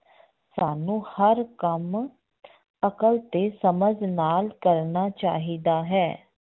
ਸਾਨੂੰ ਹਰ ਕੰਮ ਅਕਲ ਤੇ ਸਮਝ ਨਾਲ ਕਰਨਾ ਚਾਹੀਦਾ ਹੈ।